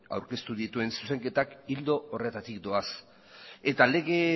aurkeztu dituen zuzenketak ildo horretatik doaz eta lege